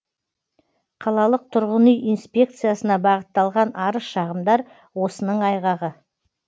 қалалық тұрғын үй инспекциясына бағытталған арыз шағымдар осының айғағы